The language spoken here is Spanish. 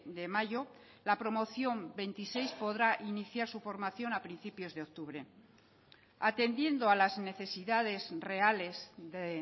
de mayo la promoción veintiséis podrá iniciar su formación a principios de octubre atendiendo a las necesidades reales de